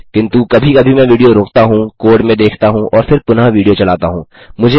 किन्तु कभी कभी मैं विडियो रोकता हूँ कोड में देखता हूँ और फिर पुनः विडियो चलाता हूँ